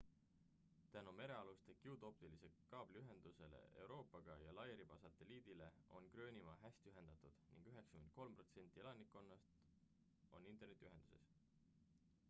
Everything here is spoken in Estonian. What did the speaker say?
tänu merealustele kiudoptilise kaabli ühendustele euroopaga ja lairiba satelliidile on gröönimaa hästi ühendatud ning 93% elanikkonnast on internetiühendus